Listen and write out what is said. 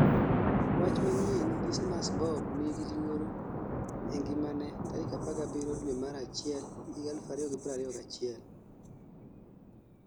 Wach manyien Dismus Bob 'nigi luoro ee ngimane' tarik 17 due mar achiel 2021